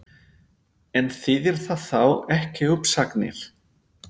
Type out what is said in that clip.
En þýðir það þá ekki uppsagnir?